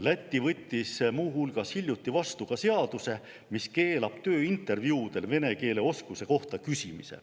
Läti võttis muu hulgas hiljuti vastu seaduse, mis keelab tööintervjuudel vene keele oskuse kohta küsimise.